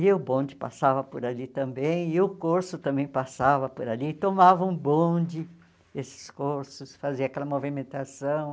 E o bonde passava por ali também, e o corso também passava por ali, e tomava um bonde, esses corsos, fazia aquela movimentação.